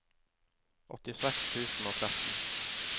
åttiseks tusen og tretten